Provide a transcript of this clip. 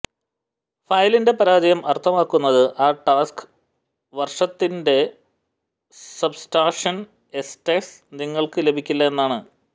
ഫയലിൻറെ പരാജയം അർത്ഥമാക്കുന്നത് ആ ടാക്സ് വർഷത്തിന്റെ സബ്സ്റ്റാക്ഷൻ എസ് സ്റ്റാറ്റസ് നിങ്ങൾക്ക് ലഭിക്കില്ല എന്നാണ്